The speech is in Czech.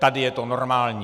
Tady je to normální.